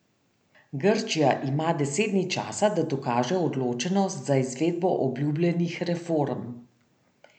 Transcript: Grčija ima deset dni časa, da dokaže odločenost za izvedbo obljubljenih reform.